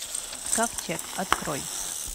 ковчег открой